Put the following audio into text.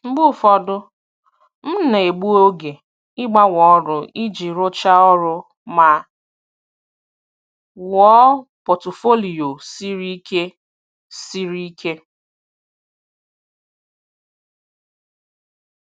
Mgbe ụfọdụ, m na-egbu oge ịgbanwe ọrụ iji rụchaa ọrụ ma wuo pọtụfoliyo siri ike. siri ike.